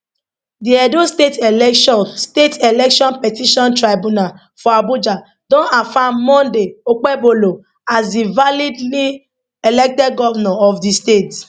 di edo state election state election petition tribunal for abuja don affirm monday okpebholo as di validly elected govnor of di state